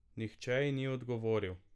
Nihče ji ni odgovoril.